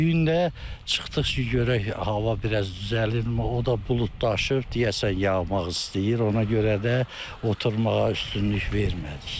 Bu gün də çıxdıq ki, görək hava biraz düzəlirmi, o da buludlaşıb, deyəsən yağmaq istəyir, ona görə də oturmağa üstünlük vermədik.